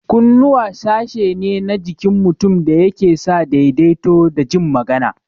Kunnuwa sashi ne na jikin mutum da yake sa daidaito da jin magana